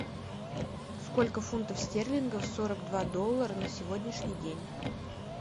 сколько фунтов стерлингов сорок два доллара на сегодняшний день